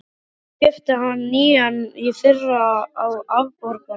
Ég keypti hann nýjan í fyrra, á afborgunum.